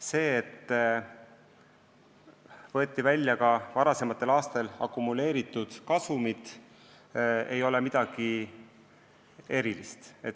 See, et võeti välja ka varasematel aastatel akumuleeritud kasum, ei ole midagi erilist.